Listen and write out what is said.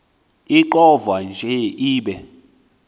ixovwa nje ibe